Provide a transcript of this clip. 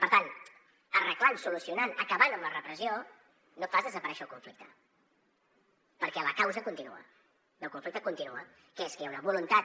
per tant arreglant solucionant acabant amb la repressió no fas desaparèixer el conflicte perquè la causa continua i el conflicte continua que és que hi ha una voluntat